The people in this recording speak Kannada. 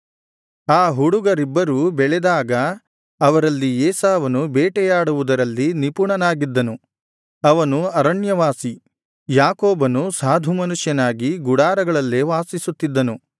ಆ ಹುಡುಗರಿಬ್ಬರೂ ಬೆಳೆದಾಗ ಅವರಲ್ಲಿ ಏಸಾವನು ಬೇಟೆಯಾಡುವುದರಲ್ಲಿ ನಿಪುಣನಾಗಿದ್ದನು ಅವನು ಅರಣ್ಯವಾಸಿ ಯಾಕೋಬನು ಸಾಧು ಮನುಷ್ಯನಾಗಿ ಗುಡಾರಗಳಲ್ಲೇ ವಾಸಿಸುತ್ತಿದ್ದನು